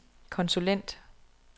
konsulent